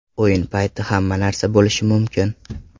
O‘yin payti hamma narsa bo‘lishi mumkin.